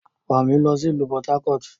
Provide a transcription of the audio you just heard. Wa mi lọ si ilu Port-Harcourt!